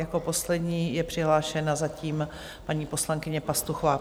Jako poslední je přihlášena zatím paní poslankyně Pastuchová.